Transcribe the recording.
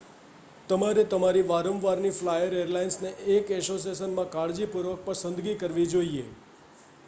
તમારે તમારી વારંવારની ફ્લાયર એરલાઇનને એક એસોસિયેશનમાં કાળજીપૂર્વક પસંદ કરવી જોઈએ